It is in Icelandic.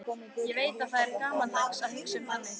Ég veit að það er gamaldags að hugsa þannig.